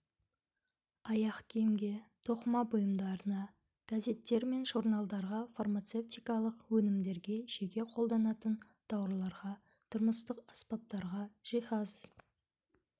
аяқ киімге тоқыма бұйымдарына газеттер мен журналдарға фармацевтикалық өнімдерге жеке қолданатын тауарларға тұрмыстық аспаптарға жиһаз